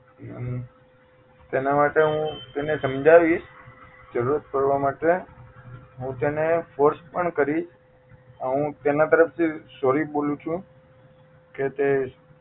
અમ તેના માટે હું તેને સમજાવીશ જરૂરત પડવા માટે હું તેને force પણ કરીશ અને હું તેના તરફ થી sorry બોલું છું કે તે